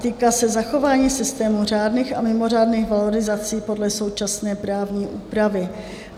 Týká se zachování systému řádných a mimořádných valorizací podle současné právní úpravy.